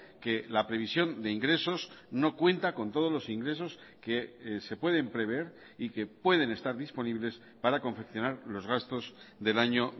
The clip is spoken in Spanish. que la previsión de ingresos no cuenta con todos los ingresos que se pueden prever y que pueden estar disponibles para confeccionar los gastos del año